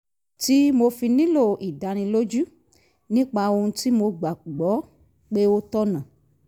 tí mo fi nílò ìdánilójú nípa ohun tí mo gbà gbọ́ pé ó tọ̀nà